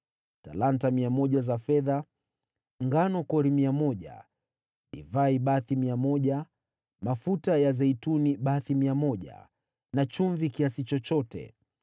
talanta 100 za fedha, ngano kori 100, divai bathi 100, mafuta ya zeituni bathi 100, na chumvi kiasi chochote.